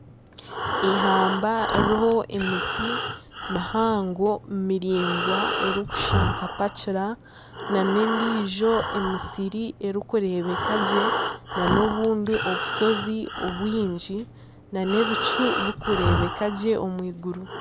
Eihamba ririho emiti mihango miraingwa erikushusha nka pachura na n'endijo emisiri erikureebeka gye na n'obundi obushozi bwingi n'ebicu birikureebeka gye omw'iguru.